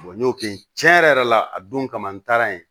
n y'o kɛ cɛn yɛrɛ yɛrɛ la a don kama n taara yen